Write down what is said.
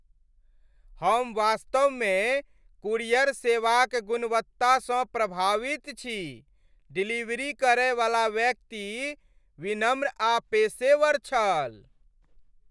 हम वास्तवमे कूरियर सेवाक गुणवत्तासँ प्रभावित छी। डिलीवरी करयवला व्यक्ति विनम्र आ पेशेवर छल।